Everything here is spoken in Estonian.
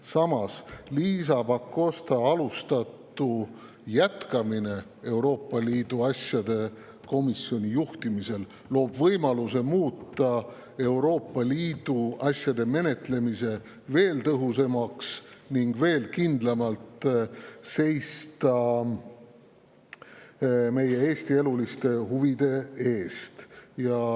Samas, Liisa Pakosta alustatu jätkamine Euroopa Liidu asjade komisjoni juhtimisel loob võimaluse muuta Euroopa Liidu asjade menetlemine veel tõhusamaks ning veel kindlamalt seista Eesti eluliste huvide eest.